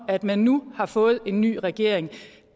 at man nu har fået en ny regering